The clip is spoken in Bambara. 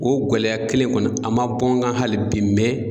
O gɛlɛya kelen kɔni a ma bɔ n kan hali bi